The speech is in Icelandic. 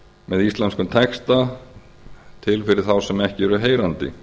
með íslenskum texta fyrir þá sem ekki eru heyrandi